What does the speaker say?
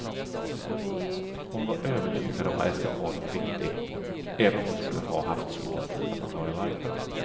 Hon var övertygad om att eskapaden var viktig, även om hon skulle ha haft svårt att förklara varför.